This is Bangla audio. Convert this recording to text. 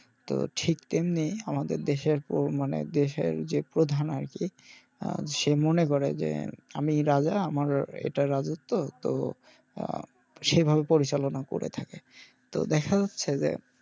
তো ঠিক তেমনি আমাদের, দেশের মানে দেশের যে প্রধান আরকি আহ সে মনে করে যে আমি রাজা আর আমার এটা রাজত্ব তো আহ সেভাবে পরিচালনা করে থাকে তো দেখা যাচ্ছে যে,